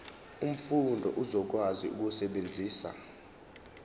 umfundi uzokwazi ukusebenzisa